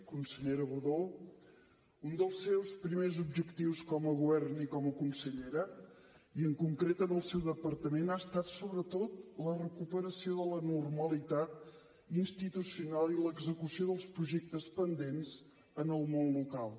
consellera budó un dels seus primers objectius com a govern i com a consellera i en concret en el seu departament ha estat sobretot la recuperació de la normalitat institucional i l’execució dels projectes pendents en el món local